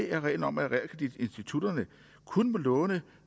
er reglen om at realkreditinstitutterne kun må låne